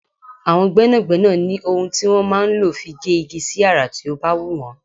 Àwọn gbẹ́nàgbẹ́nà ní ohun tí wọn máa ń lò fi gé igi sí àrà tí ó bá wù wọ́n.